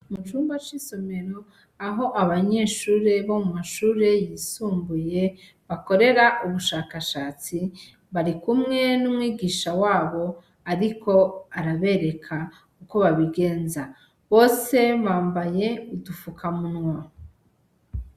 Mu cumba c'isomero, aho abanyeshure bo mu mashure yisumbuye bakorera ubushakashatsi, barikumwe n'umwigisha wabo ariko arabereka uko babigenza, bose bambaye udufukamunwa.